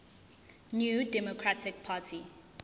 new democratic party